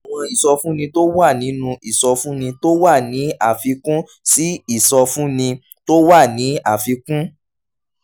àwọn ìsọfúnni tó wà nínú ìsọfúnni tó wà ní àfikún sí ìsọfúnni tó wà ní àfikún